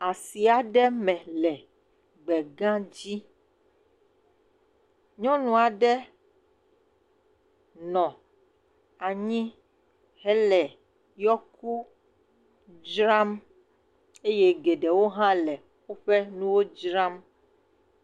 Asi aɖe me le gbegãdzi. Nyɔnu aɖe nɔ anyi hele yɔku dzram eye geɖewo hã le woƒe nuwo dzram.